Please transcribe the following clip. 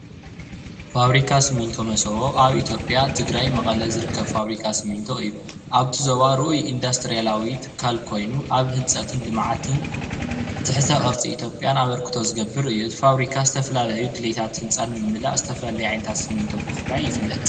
ፋብሪካ ስሚንቶ መሰቦ ኣብ ኢትዮጵያ ትግራይ መቐለ ዝርከብ ፋብሪካ ስሚንቶ እዩ። ኣብቲ ዞባ ርኡይ ኢንዳስትሪያላዊ ትካል ኮይኑ ኣብ ህንፀትን ልምዓትን ትሕተ ቅርፂ ኢትዮጵያን ኣበርክቶ ዝገብር እዩ። እቲ ፋብሪካ ዝተፈላለዩ ድሌታት ህንፃ ንምምላእ ዝተፈላለዩ ዓይነታት ስሚንቶ ብምፍራይ ይፍለጥ።